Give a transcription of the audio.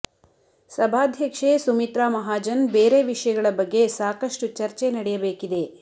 ಸಭಾಧ್ಯಕ್ಷೆ ಸುಮಿತ್ರಾ ಮಹಾಜನ್ ಬೇರೆ ವಿಷಯಗಳ ಬಗ್ಗೆ ಸಾಕಷ್ಟು ಚಚರ್ೆ ನಡೆಯಬೇಕಿದೆ